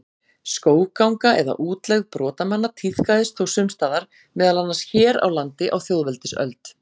Skógganga eða útlegð brotamanna tíðkaðist þó sums staðar, meðal annars hér á landi á þjóðveldisöld.